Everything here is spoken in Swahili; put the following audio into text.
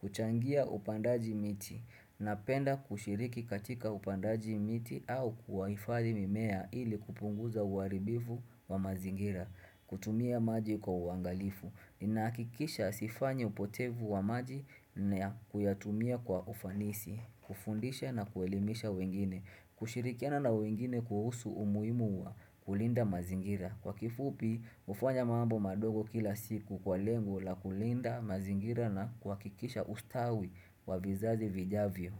Kuchangia upandaji miti. Napenda kushiriki katika upandaji miti au kuwahifadhi mimea ili kupunguza uharibifu wa mazingira. Kutumia maji kwa uangalifu. Nahakikisha sifanyi upotevu wa maji na kuyatumia kwa ufanisi. Kufundisha na kuelimisha wengine. Kushirikiana na wengine kuhusu umuhimu wa kulinda mazingira. Kwa kifupi, hufanya mambo madogo kila siku kwa lengo la kulinda mazingira na kuhakikisha ustawi wa vizazi vijavyo.